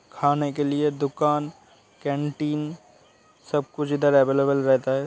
खाने के लिए दुकान कैंटीन सब कुछ इधर अवेलेबल रहता है।